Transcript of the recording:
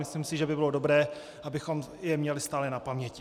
Myslím si, že by bylo dobré, abychom je měli stále na paměti.